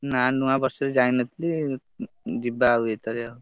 ନା ନୂଆବର୍ଷ ରେ ଯାଇନଥିଲି ଯିବା ଆଉ ଏଇଥର।